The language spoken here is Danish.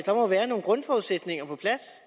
der må være nogle grundforudsætninger på plads